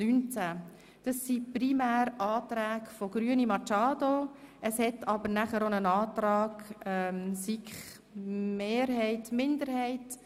Dabei handelt es sich primär um Anträge der Grünen, doch gibt es auch noch Anträge von Kommissionsmehrheit und -minderheit.